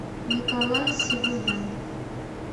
николай сивумян